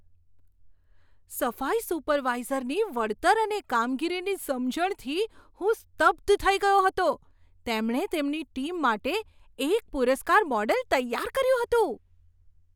સફાઈ સુપરવાઇઝરની વળતર અને કામગીરીની સમજણથી હું સ્તબ્ધ થઈ ગયો હતો. તેમણે તેમની ટીમ માટે એક પુરસ્કાર મોડેલ તૈયાર કર્યું હતું.